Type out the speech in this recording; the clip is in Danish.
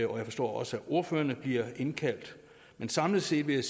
og jeg forstår også at ordførerne bliver indkaldt men samlet set vil jeg